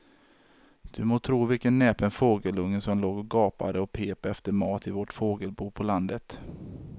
Du må tro vilken näpen fågelunge som låg och gapade och pep efter mat i vårt fågelbo på landet.